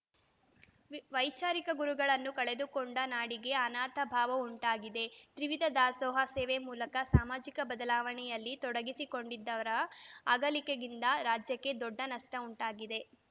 V ವೈಚಾರಿಕ ಗುರುಗಳನ್ನು ಕಳೆದುಕೊಂಡ ನಾಡಿಗೆ ಅನಾಥ ಭಾವ ಉಂಟಾಗಿದೆ ತ್ರಿವಿಧ ದಾಸೋಹ ಸೇವೆ ಮೂಲಕ ಸಾಮಾಜಿಕ ಬದಲಾವಣೆಯಲ್ಲಿ ತೊಡಗಿಸಿಕೊಂಡಿದ್ದವರ ಅಗಲಿಕೆಯಿಂದ ರಾಜ್ಯಕ್ಕೆ ದೊಡ್ಡ ನಷ್ಟಉಂಟಾಗಿದೆ